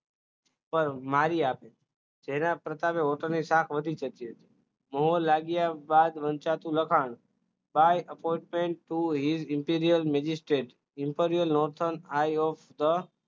પણ મારી તેના પ્રતાપે હોટલ સ્ટાફ વધી ગયો છે મોહર લાગ્યા બાદ વંચાતું લખાણ buy afor ten to her interor magistrate informal nothan i hope the